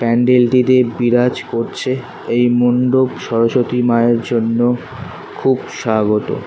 প্যান্ডেল টিতে বিরাজ করছে এই মন্ডপ সরস্বতী মায়ের জন্য খুব স্বাগতম।